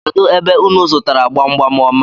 Kedụ ebe unu zụtara gbamgbam ọma a?